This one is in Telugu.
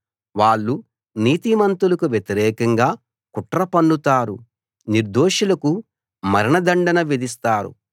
వాళ్ళు నీతిమంతులకు వ్యతిరేకంగా కుట్ర పన్నుతారు నిర్దోషులకు మరణ దండన విధిస్తారు